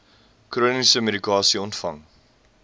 chroniese medikasie ontvang